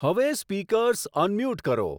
હવે speakers unmute કરો